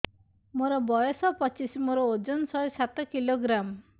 ମୋର ବୟସ ପଚିଶି ମୋର ଓଜନ ଶହେ ସାତ କିଲୋଗ୍ରାମ